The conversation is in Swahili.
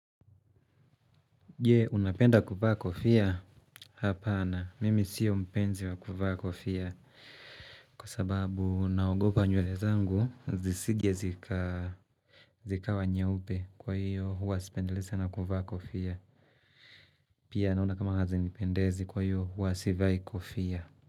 Je, unapenda kuvaa kofia? Hapana, mimi siyo mpenzi wa kuvaa kofia. Kwa sababu, naogopwa nywele zangu, zisije zikawa nyeupe kwa hiyo, huwa sipendelei sana kuvaa kofia. Pia, naona kama hazinipendezi kwa hiyo, huwa sivai kofia.